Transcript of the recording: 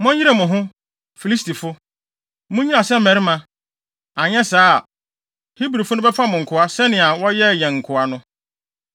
Monyere mo ho, Filistifo! Munnyina sɛ mmarima; anyɛ saa a, Hebrifo no bɛfa mo nkoa sɛnea wɔyɛɛ yɛn nkoa no.”